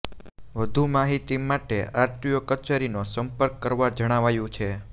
વધુ માહિતી માટે આરટીઓ કચેરીનો સંપર્ક કરવા જણાવાયું છે